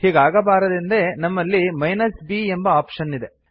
ಹೀಗಾಗಬಾರದೆಂದೇ ನಮ್ಮಲ್ಲಿ b ಎಂಬ option ಇದೆ